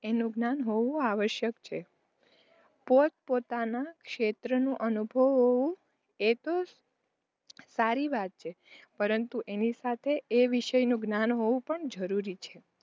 એનું જ્ઞાન હોવું આવશ્યક છે પોત -પોતાનાં ક્ષેત્રનો અનુભવ હોવો એ તો સારી વાત છે પરંતુ એની સાથે એ વિષય નું જ્ઞાન હોવું પણ જરૂરી છે.